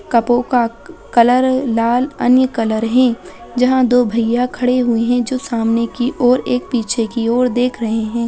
कपो का कलर लाल अन्य कलर है जहाँ दो भैया खड़े हुए है जो सामने की ओर एक पीछे की ओर देख रहै है।